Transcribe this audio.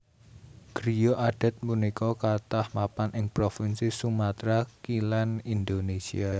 Griya adat punika kathah mapan ing provinsi Sumatra Kilèn Indonésia